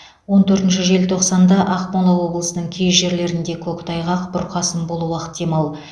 он төртінші желтоқсанда ақмола облысының кей жерлерінде көктайғақ бұрқасын болуы ықтимал